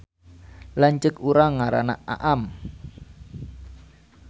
Lanceuk urang ngaranna Aam